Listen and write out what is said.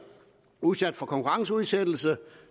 udsat for konkurrenceudsættelse og